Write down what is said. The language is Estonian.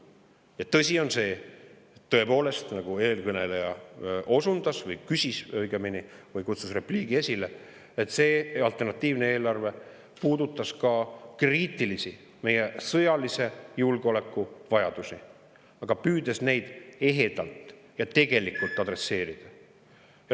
Ja tõsi on see, tõepoolest, nagu eelkõneleja osundas, küsis õigemini või kutsus repliigi esile, et see alternatiivne eelarve puudutas ka meie sõjalise julgeoleku kriitilisi vajadusi, püüdes neid ehedalt ja tegelikult adresseerida.